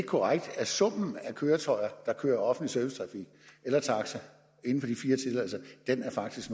korrekt at summen af køretøjer der kører offentlig servicetrafik eller taxa inden